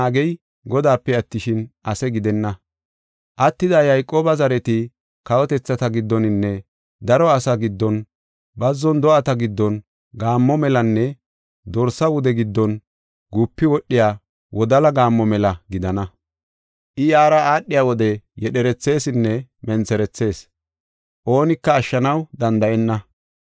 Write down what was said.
Attida Yayqooba zareti kawotethata giddoninne daro asaa giddon, bazzon do7ata giddon gaammo melanne dorsa wude giddon gupi wodhiya wodala gaammo mela gidana. I yaara aadhiya wode yedherethesinne mentherethees; oonika ashshanaw danda7enna.